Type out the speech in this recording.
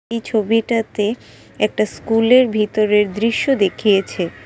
এই ছবিটাতে একটা স্কুলের ভিতরের দৃশ্য দেখিয়েছে ।